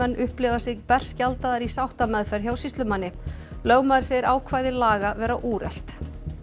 upplifa sig berskjaldaðar í sáttameðferð hjá sýslumanni lögmaður segir ákvæði laga vera úrelt